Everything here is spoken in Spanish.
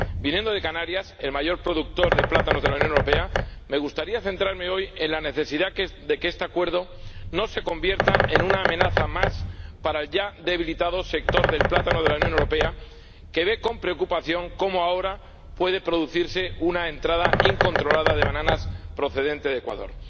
Viniendo de Canarias, el mayor productor de plátanos de la Unión Europea, me gustaría centrarme hoy en la necesidad de que este Acuerdo no se convierta en una amenaza más para el ya debilitado sector del plátano de la Unión Europea, que ve con preocupación cómo ahora puede producirse una entrada incontrolada de bananas procedentes de Ecuador.